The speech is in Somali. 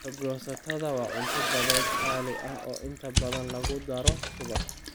Aargoosatada waa cunto badeed qaali ah oo inta badan lagu daro subag.